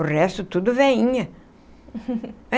O resto tudo velinha.